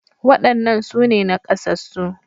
Waɗannan su ne naƙasassu